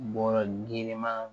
Bɔrɔ girinman